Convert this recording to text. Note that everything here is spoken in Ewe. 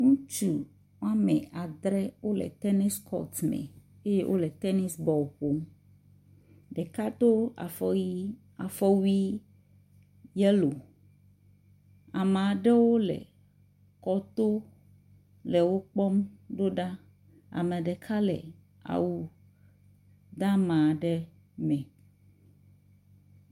Ŋutsu wome adre wole tenisi kɔtu me eye wole tenisi bɔl ƒom. Ɖeka do afɔ yi, afɔwui yelo. Ame aɖewo le kɔto le wo kpɔm ɖo ɖa. Ame ɖeka le awu deama aɖe me.